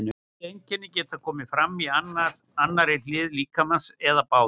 Þessi einkenni geta komið fram á annarri hlið líkamans eða báðum.